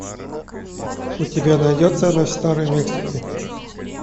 у тебя найдется ночь в старой мексике